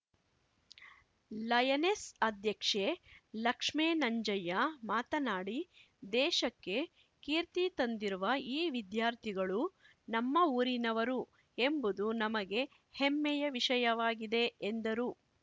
lioness ಅಧ್ಯಕ್ಷೆ ಲಕ್ಷ್ಮೇನಂಜಯ್ಯ ಮಾತನಾಡಿ ದೇಶಕ್ಕೆ ಕೀರ್ತಿ ತಂದಿರುವ ಈ ವಿದ್ಯಾರ್ಥಿಗಳು ನಮ್ಮ ಊರಿನವರು ಎಂಬುದು ನಮಗೆ ಹೆಮ್ಮೆಯ ವಿಷಯವಾಗಿದೆ ಎಂದರು